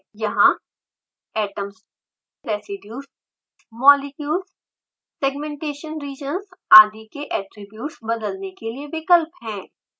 यहाँ atoms residues molecules segmentation regions आदि के ऐट्रिब्यूट्स बदलने के लिए विकल्प हैं